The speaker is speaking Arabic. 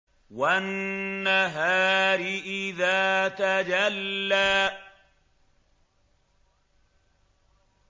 وَالنَّهَارِ إِذَا تَجَلَّىٰ